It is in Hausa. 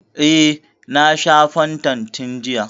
E, na sha fantan tun jiya.